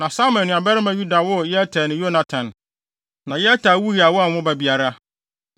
Na Samai nuabarima Yada woo Yeter ne Yonatan. Na Yeter wui a wanwo ba biara,